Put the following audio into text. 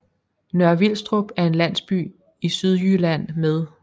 Nørre Vilstrup er en landsby i Sydjylland med